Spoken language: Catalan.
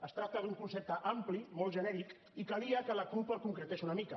es tracta d’un concepte ampli molt genèric i calia que la cup el concretés una mica